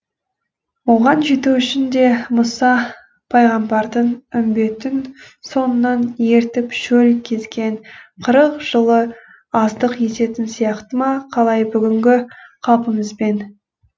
оған жету үшін де мұса пайғамбардың үмбетін соңынан ертіп шөл кезген қырық жылы аздық ететін сияқты ма қалай бүгінгі қалпымызбен